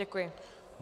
Děkuji.